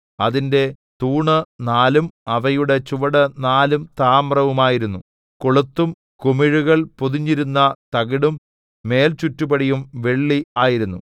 അതിന്റെ തൂണ് നാലും അവയുടെ ചുവട് നാലും താമ്രമായിരുന്നു കൊളുത്തും കുമിഴുകൾ പൊതിഞ്ഞിരുന്ന തകിടും മേൽചുറ്റുപടിയും വെള്ളി ആയിരുന്നു